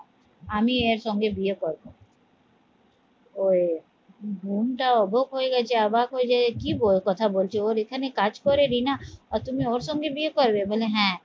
আমি এর সঙ্গে বিয়ে করবো ওই বোনটা অবাক হয়ে গেছে অবাক হয়ে যায় কি কথা বলছে ওর এখানে কাজ করে রিনা আর তুমি ওর সঙ্গে বিয়ে করবে? বলে হ্যাঁ